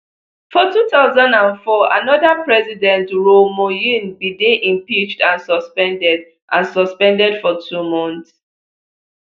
for two thousand and four another president roh moohyun bin dey impeached and suspended and suspended for two months